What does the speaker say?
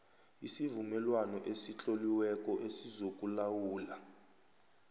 isivumelwano esitloliweko esizokulawula